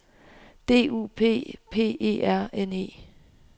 D U P P E R N E